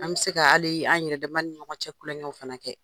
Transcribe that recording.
An bɛ se k'ali an yɛrɛdamaw ni ɲɔgɔncɛ kulonkƐw fana fana kɛ.